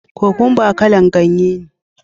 Kokwamba kala'n ganye ne.